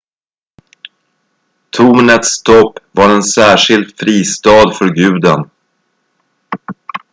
tornets topp var en särskild fristad för guden